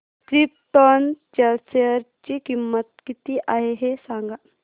krypton च्या share ची किंमत किती आहे हे सांगा